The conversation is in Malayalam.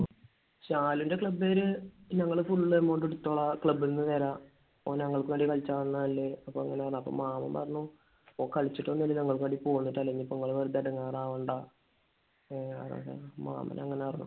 ശാലുന്റെ club കാര് ഞങ്ങൾ full amount എടുത്തോളാം. club ൽ നിന്ന് തരാം. ഓന് ഞങ്ങൾക്ക് വേണ്ടി കളിക്കാൻ വന്നതല്ലേ. അപ്പോൾ അങ്ങനെ. അപ്പോൾ മാമൻ പറഞ്ഞു ഓൻ കളിച്ചിട്ടൊന്നുമല്ല നിങ്ങൾക്ക് വേണ്ടി അപ്പോൾ നിങ്ങൾ വെറുതെ എടങ്ങേറാവണ്ട . മാമൻ അങ്ങനെ പറഞ്ഞു.